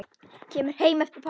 Kemur heim eftir páska.